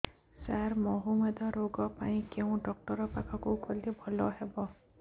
ସାର ମଧୁମେହ ରୋଗ ପାଇଁ କେଉଁ ଡକ୍ଟର ପାଖକୁ ଗଲେ ଭଲ ହେବ